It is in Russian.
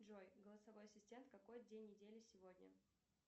джой голосовой ассистент какой день недели сегодня